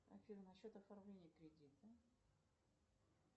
афина насчет оформления кредита